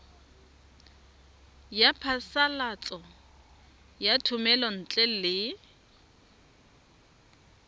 ya phasalatso ya thomelontle le